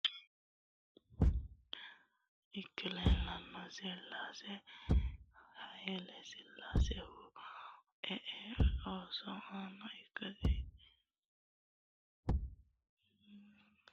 Haile silasenna maatessi ikka leellishanno, silase haile silasehura lee ooso ana ikkasi koninni buuxxa dandinannia atse haile silase 1930 kayise 1974 geesha topiyuu gashaancho ikkino